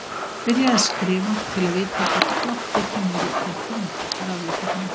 Byrjaðu að skrifa til að vita hvort plottið kemur ekki til þín, ráðleggur hún.